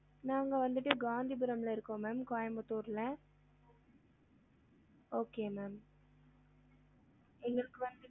நாங்க வந்துட்டு காந்திபுரம்ல இருக்கோம் ma'am கோயம்புத்தூர்ல okay ma'am எங்களுக்கு வந்து